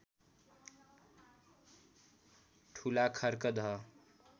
ठूला खर्कदह